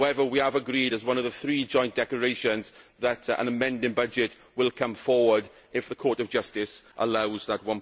Justice. However, we have agreed, as one of the three joint statements, that an amending budget will be brought forward if the Court of Justice allows